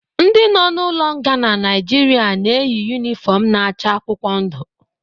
Ndi nọ n'ụlo nga na Nigeria na-eyi unịfọm na-acha akwụkwọ ndụ